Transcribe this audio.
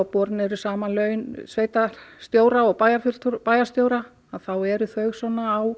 borin eru saman laun sveitar og bæjarstjóra bæjarstjóra eru þau á